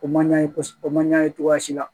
O man ɲa kosɛbɛ o man ɲa ye cogoya si la